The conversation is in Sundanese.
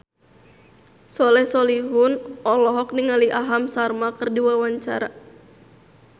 Soleh Solihun olohok ningali Aham Sharma keur diwawancara